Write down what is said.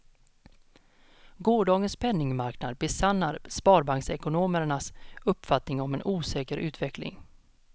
Gårdagens penningmarknad besannar sparbanksekonomernas uppfattning om en osäker utveckling.